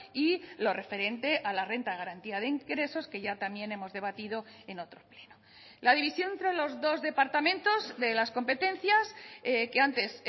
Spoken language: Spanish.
y lo referente a la renta de garantía de ingresos que ya también hemos debatido en otro pleno la división entre los dos departamentos de las competencias que antes